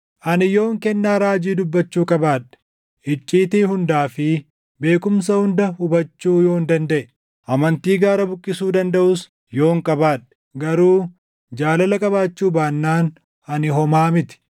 Ani yoon kennaa raajii dubbachuu qabaadhe, icciitii hundaa fi beekumsa hunda hubachuu yoon dandaʼe, amantii gaara buqqisuu dandaʼus yoon qabaadhe, garuu jaalala qabaachuu baannaan ani homaa miti.